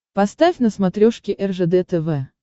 поставь на смотрешке ржд тв